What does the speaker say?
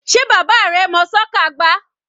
Sé bàbá rẹ mọ́ soccer gbá?